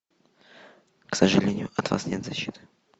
к сожалению от вас нет защиты